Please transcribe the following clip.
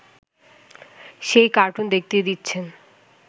সেই কার্টুন দেখতে দিচ্ছেন